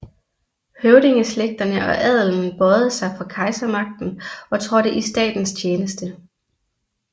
Høvdingeslægterne og adelen bøjede sig for kejsermagten og trådte i statens tjeneste